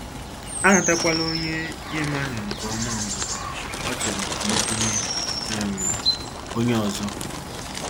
Anatakwala onye ị maghị nke ọma ngwugwu ọ chọrọ ka I bunye um onye ọzọ.